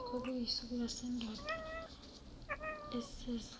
kwakuyisishuqula sendoda eseza